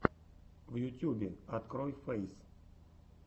в ютюбе открой фэйс